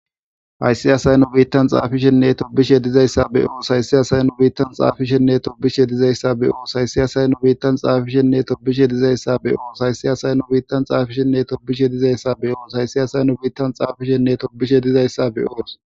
Hayssiyasay nu biittan xaafishenne tobishe dizayssa be oos haysiyasay nu biittan xaafishenne tobishe dizayssa beoos hayssi asay nu biittan xaafishenne tobishe dizayssa be7oos hayssi asayn nu biittan xaafishenne tobishe dizayssa beoos hayssi asayn nu biittan xaafishenne tobishe dizayssa be7oos.